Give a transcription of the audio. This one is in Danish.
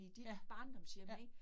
Ja. Ja